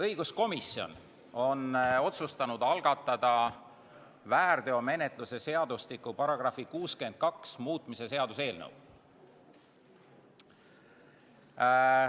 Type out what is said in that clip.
Õiguskomisjon on otsustanud algatada väärteomenetluse seadustiku § 62 muutmise seaduse eelnõu.